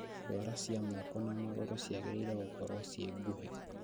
Ndwara cia moko na magũrũ ciagĩrĩIre gũkorwo cii nguhĩ